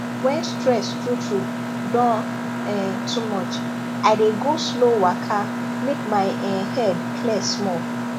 when stress truetrue don um too much i dey go slow waka make my um head clear small